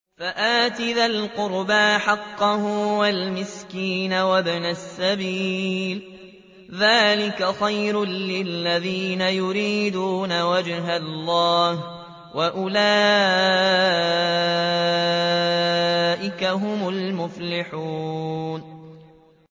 فَآتِ ذَا الْقُرْبَىٰ حَقَّهُ وَالْمِسْكِينَ وَابْنَ السَّبِيلِ ۚ ذَٰلِكَ خَيْرٌ لِّلَّذِينَ يُرِيدُونَ وَجْهَ اللَّهِ ۖ وَأُولَٰئِكَ هُمُ الْمُفْلِحُونَ